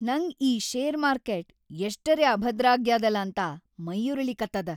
ನಂಗ್ ಈ share market ಎಷ್ಟರೆ ಅಭದ್ರಾಗ್ಯಾದಲಾ ಅಂತ ಮೈಯುರಿಲಿಕತ್ತದ.